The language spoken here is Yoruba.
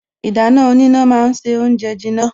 Ìdáná oníná ma ń se oúnjẹ jiná